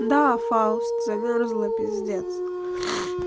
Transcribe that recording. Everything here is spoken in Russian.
да фаус замёрзла пиздец